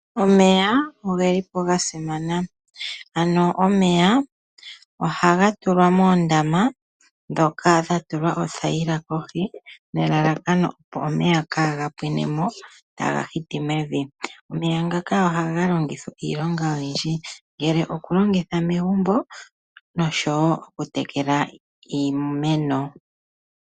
Omeya ogelipo ga simana. Omeya oha ga tulwa moondama ndhoka dha tulwa othaila kohi ,nelalakano opo omeya ka ga pwinemo ta ga hiti mevi. Omeya ngaka oha ga longitwa iilonga oyindji ngaashi okulongitha megumbo, noshowo okutekela iimeno.